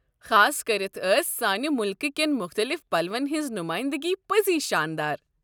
خاصكرِتھ ٲس سانہِ مُلکٕہ کین مختٔلِف پلوَن ہِنٛز نُمٲیِندگی پٔزۍ شانٛدار۔